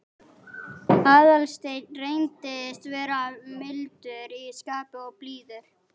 Aðalsteinn reyndist vera mildur í skapi og blíður.